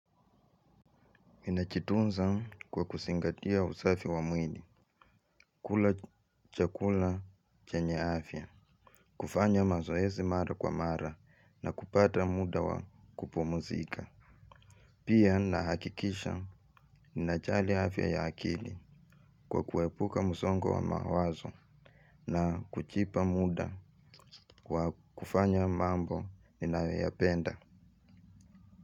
Ninajitunza kwa kuzingatia usafi wa mwili, kula chakula chenye afya, kufanya mazoezi mara kwa mara na kupata muda wa kupumzika. Pia nahakikisha ninajali afya ya akili kwa kuepuka msongo wa mawazo na kujipa muda wa kufanya mambo ninayoyapenda.